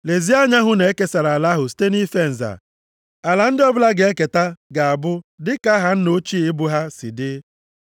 Lezie anya hụ na e kesara ala ahụ site nʼife nza. Ala ndị ọbụla ga-eketa ga-abụ dịka aha nna ochie ebo ha si dị.